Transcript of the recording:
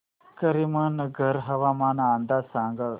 करीमनगर हवामान अंदाज सांग